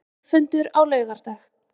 Þjóðfundur á laugardag